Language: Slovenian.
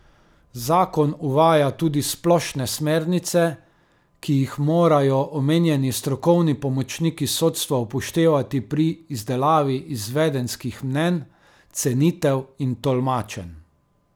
Zakon uvaja tudi splošne smernice, ki jih morajo omenjeni strokovni pomočniki sodstva upoštevati pri izdelavi izvedenskih mnenj, cenitev in tolmačenj.